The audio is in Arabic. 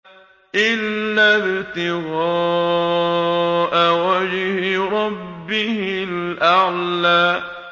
إِلَّا ابْتِغَاءَ وَجْهِ رَبِّهِ الْأَعْلَىٰ